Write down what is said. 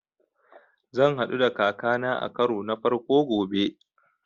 Zan haɗu da kaka na a karo na farko gobe